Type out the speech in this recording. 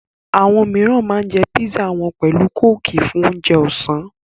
Àwọn míìràn ma ń jẹ́ písà wọn pẹ̀lú kóòkì fún ounje ọ̀sán